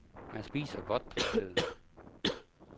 Man spiser godt på stedet.